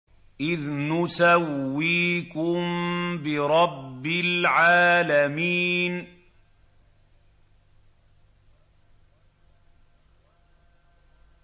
إِذْ نُسَوِّيكُم بِرَبِّ الْعَالَمِينَ